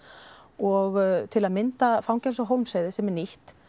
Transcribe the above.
og til að mynda fangelsið á Hólmsheiði sem er nýtt